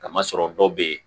Kamasɔrɔ dɔw be yen